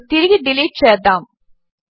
దానిని తిరిగి డిలీట్ చేద్దాము